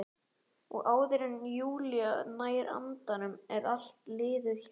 Og áður en Júlía nær andanum er allt liðið hjá.